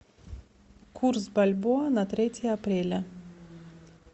курс бальбоа на третье апреля